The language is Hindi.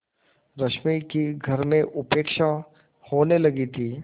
रश्मि की घर में उपेक्षा होने लगी थी